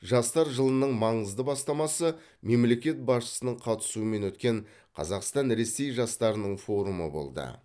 жастар жылының маңызды бастамасы мемлекет басшысының қатысуымен өткен қазақстан ресей жастарының форумы болды